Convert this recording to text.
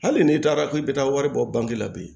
Hali n'i taara k'i bɛ taa wari bɔ bange la bi